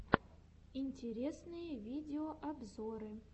интересные видеообзоры